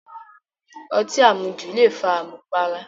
Ọtí àmujù le fa àmùpara